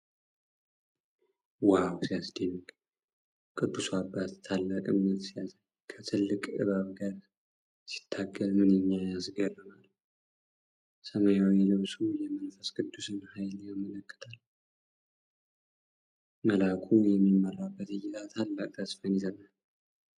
ዋው ሲያስደንቅ! ቅዱሱ አባት ታላቅ እምነት ሲያሳይ፣ ከትልቅ እባብ ጋር ሲታገል ምንኛ ያስገርማል! ሰማያዊው ልብሱ የመንፈስ ቅዱስን ኃይል ያመለክታል። መልአኩ የሚመራበት እይታ ታላቅ ተስፋን ይሰጣል።